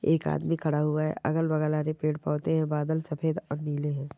एक आदमी खड़ा हुआ है अगल-बगल हरे पेड़ पौधे है बादल सफेद और नीले है।